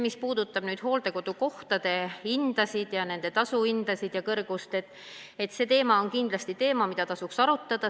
Mis puudutab hooldekodukohtade tasu, siis see on kindlasti teema, mida tasuks arutada.